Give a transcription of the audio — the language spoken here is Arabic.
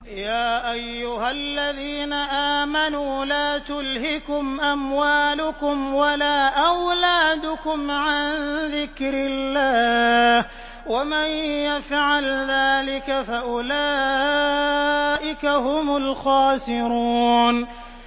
يَا أَيُّهَا الَّذِينَ آمَنُوا لَا تُلْهِكُمْ أَمْوَالُكُمْ وَلَا أَوْلَادُكُمْ عَن ذِكْرِ اللَّهِ ۚ وَمَن يَفْعَلْ ذَٰلِكَ فَأُولَٰئِكَ هُمُ الْخَاسِرُونَ